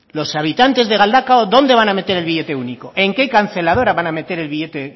los habitantes de galdakao dónde van a meter el billete único en qué canceladora van a meter el billete